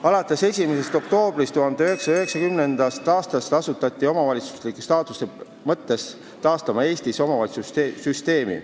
Alates 1. oktoobrist 1990 asuti omavalitsusliku staatuse mõttes taastama Eestis omavalitsussüsteemi.